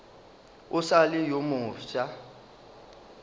o sa le yo mofsa